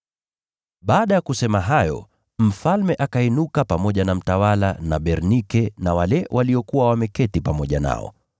Baada ya kusema hayo, mfalme akainuka pamoja na mtawala na Bernike na wale waliokuwa wameketi pamoja nao.